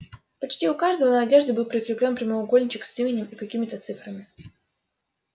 почти у каждого на одежде был прикреплён прямоугольничек с именем и какими-то цифрами